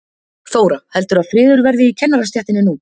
Þóra: Heldurðu að friður verði í kennarastéttinni nú?